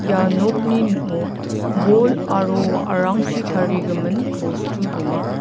ia nokni ning·o bol aro wa·arangchi tarigimin bostu donga.